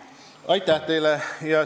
Aitäh teile!